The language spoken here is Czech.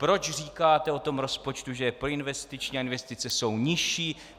proč říkáte o tom rozpočtu, že je proinvestiční, a investice jsou nižší;